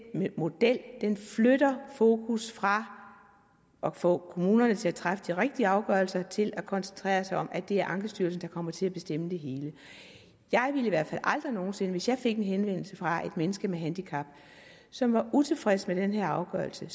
model flytter fokus fra at få kommunerne til at træffe de rigtige afgørelser til at koncentrere sig om at det er ankestyrelsen der kommer til at bestemme det hele jeg ville i hvert aldrig nogen sinde hvis jeg fik en henvendelse fra et menneske med et handicap som var utilfreds med den her afgørelse